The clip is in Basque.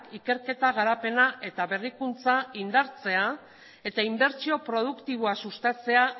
ikerketa garapena eta berrikuntza indartzea eta inbertsio produktiboa sustatzea